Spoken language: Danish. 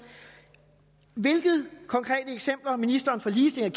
hvilke konkrete eksempler ministeren for ligestilling